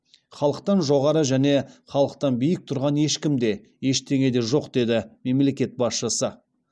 халықтан жоғары және халықтан биік тұрған ешкім де ештеңе де жоқ деді мемлекет басшысы